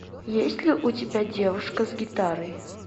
есть ли у тебя девушка с гитарой